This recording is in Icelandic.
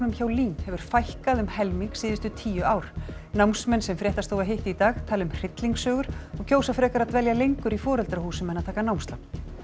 hjá LÍN hefur fækkað um helming síðustu tíu ár námsmenn sem fréttastofa hitti í dag tala um hryllingssögur og kjósa frekar að dvelja lengur í foreldrahúsum en að taka námslán